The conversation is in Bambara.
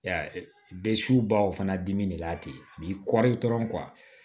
Ya bɛ subaw fana dimi de la ten a b'i kɔri dɔrɔn